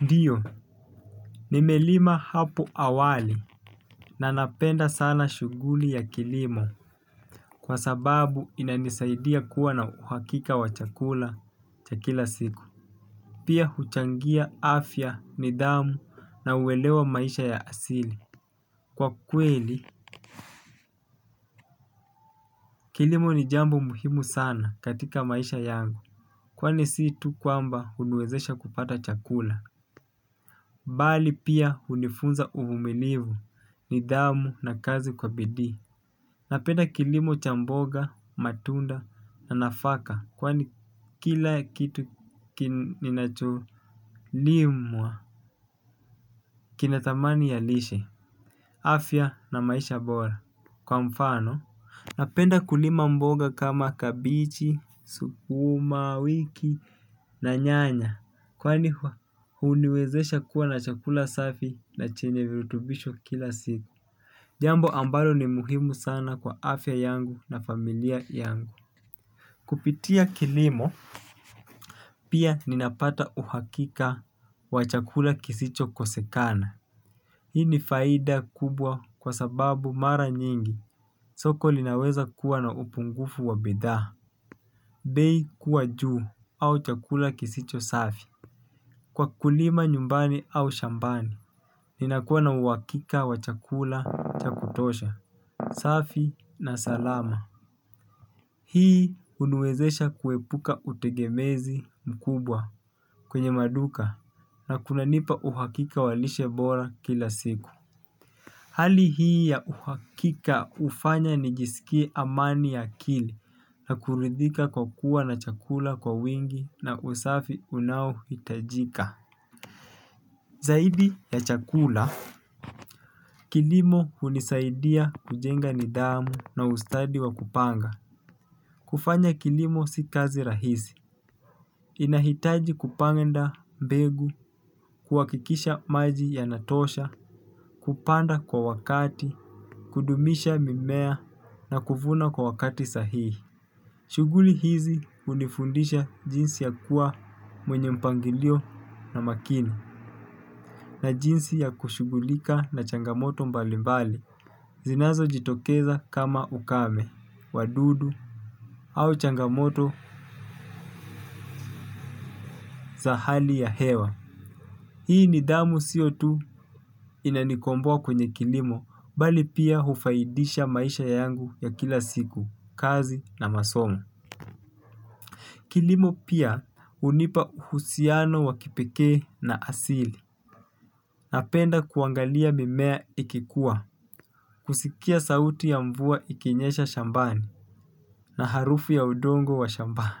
Ndiyo, nimelima hapo awali. Na napenda sana shughuli ya kilimo. Kwa sababu inanisaidia kuwa na uhakika wa chakula cha kila siku. Pia huchangia afya nidhamu na uelewa maisha ya asili. Kwa kweli, kilimo ni jambo muhimu sana katika maisha yangu. Kwani si tu kwamba huniwezesha kupata chakula bali pia hunifunza uvumilivu nidhamu na kazi kwa bidii. Napenda kilimo cha mboga, matunda na nafaka kwani kila kitu kinacholimwa kina dhamani ya lishe. Afya na maisha bora kwa mfano. Napenda kulima mboga kama kabenji, sukuma wiki na nyanya. Kwani huniwezesha kuwa na chakula safi na chenye virutubisho kila siku. Jambo ambalo ni muhimu sana kwa afya yangu na familia yangu. Kupitia kilimo pia ninapata uhakika wa chakula kisicho kosekana. Hii ni faida kubwa kwa sababu mara nyingi soko linaweza kuwa na upungufu wa bidhaa. Bei kuwa juu au chakula kisicho safi. Kwa kulima nyumbani au shambani ninakuwa na uhakika wa chakula cha kutosha safi na salama hii huniwezesha kuhepuka utengemezi mkubwa kwenye maduka na kunanipa uhakika wa lishe bora kila siku. Hali hii ya uhakika hufanya nijisikie amani ya akili na kuridhika kwa kuwa na chakula kwa wingi na usafi unaohitajika zaidi ya chakula kilimo hunisaidia kujenga nidhamu na ustadi wa kupanga. Kufanya kilimo si kazi rahisi. Inahitaji kupanda mbegu, kuhakikisha maji yanatosha, kupanda kwa wakati, kudumisha mimea na kuvuna kwa wakati sahihi. Shughuli hizi hunifundisha jinsi ya kuwa mwenye mpangilio na makini na jinsi ya kushughulika na changamoto mbalimbali. Zinazo jitokeza kama ukame, wadudu au changamoto za hali ya hewa. Hii nidhamu sio tu inanikomboa kwenye kilimo bali pia hufaidisha maisha yangu ya kila siku, kazi na masomo. Kilimo pia hunipa uhusiano wa kipekee na asili. Napenda kuangalia mimea ikikua. Kusikia sauti ya mvua ikinyesha shambani na harufu ya udongo wa shambani.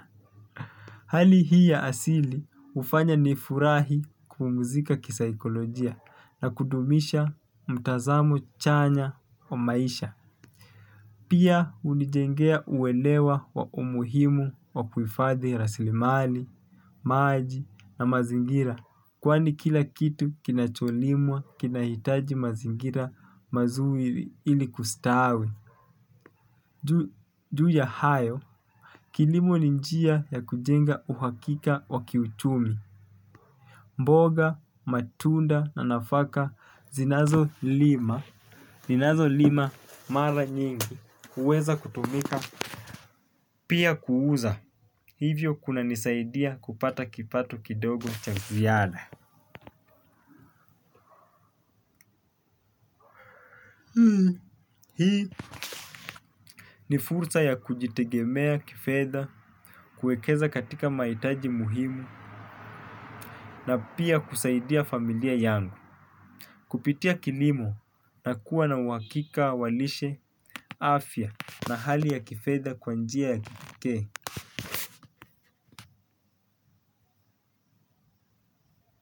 Hali hii ya asili hufanya nifurahi kupumzika kisaikolojia na kudumisha mtazamo chanya wa maisha. Pia hunijengea uelewa wa umuhimu wa kuhifadhi rasilimali, maji na mazingira kwani kila kitu kinacholimwa kinahitaji mazingira mazuri ili kustawi. Juu ya hayo, kilimo ni njia ya kujenga uhakika wa kiuchumi. Mboga, matunda na nafaka zinazo lima mara nyingi, huweza kutumika, pia kuuza. Hivyo kunanisaidia kupata kipato kidogo cha ziada. Ni fursa ya kujitegemea kifedha, kuekeza katika mahitaji muhimu na pia kusaidia familia yangu. Kupitia kilimo na kuwa na uhakika wa lishe afya na hali ya kifedha kwa njia ya kipekee.